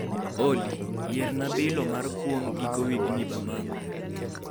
Olly, yierna biloo mar kwong' giko wigni bamako